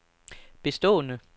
bestående